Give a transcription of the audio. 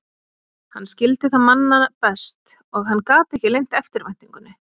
Hann skildi það manna best, og hann gat ekki leynt eftirvæntingunni.